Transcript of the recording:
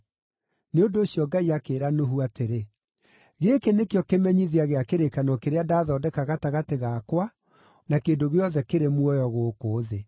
Nĩ ũndũ ũcio Ngai akĩĩra Nuhu atĩrĩ, “Gĩkĩ nĩkĩo kĩmenyithia gĩa kĩrĩkanĩro kĩrĩa ndathondeka gatagatĩ gakwa na kĩndũ gĩothe kĩrĩ muoyo gũkũ thĩ.”